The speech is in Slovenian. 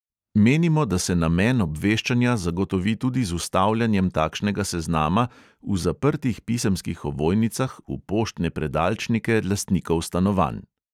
Menimo, da se namen obveščanja zagotovi tudi z vstavljanjem takšnega seznama v zaprtih pisemskih ovojnicah v poštne predalčnike lastnikov stanovanj.